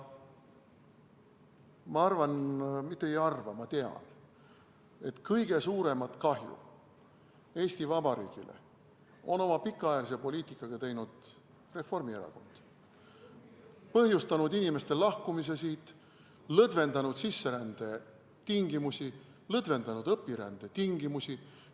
Ma arvan, mitte ei arva, ma tean, et kõige suuremat kahju Eesti Vabariigile on oma pikaajalise poliitikaga teinud Reformierakond, ta on põhjustanud inimeste lahkumise siit, lõdvendanud sisserände tingimusi, lõdvendanud õpirände tingimusi.